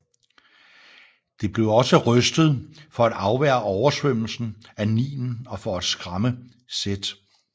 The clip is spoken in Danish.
Det blev også rystet for at afværge oversvømmelsen af Nilen og for at skræmme Seth